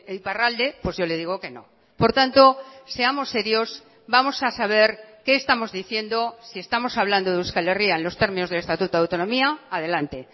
iparralde pues yo le digo que no por tanto seamos serios vamos a saber qué estamos diciendo si estamos hablando de euskal herria en los términos del estatuto de autonomía adelante